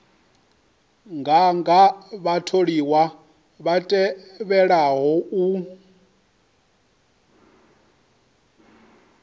nganga vhatholiwa vha tevhelaho u